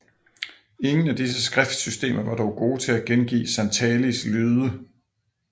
Ingen af disse skriftsystemer var dog gode til at gengive santalis lyde